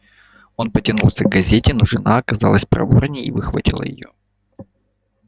он потянулся к газете но жена оказалась проворнее и выхватила её